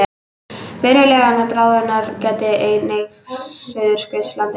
Verulegrar bráðnunar gætir einnig á Suðurskautslandinu